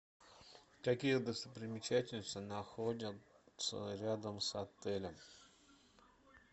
какие достопримечательности находятся рядом с отелем